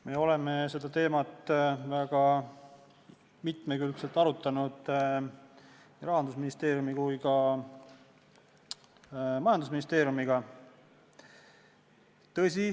Me oleme seda teemat väga mitmekülgselt arutanud nii Rahandusministeeriumi kui ka majandusministeeriumiga.